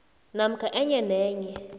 namkha enye nenye